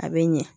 A bɛ ɲɛ